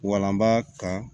Walanba ka